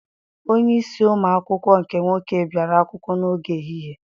Onyeisi ụmụ akwụkwọ nke nwoke biara akwụkwọ n'oge ehihie.